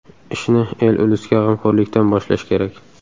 Ishni el-ulusga g‘amxo‘rlikdan boshlash kerak”.